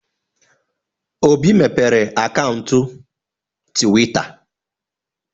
Obi mepere akaụntụ Twita.